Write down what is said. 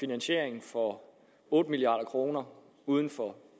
finansiering for otte milliard kroner uden for